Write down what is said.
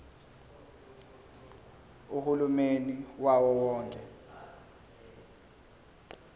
uhulumeni wawo wonke